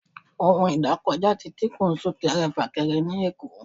ohún idakojá tí díkun sunkẹrẹ-fakẹrẹ ni Èko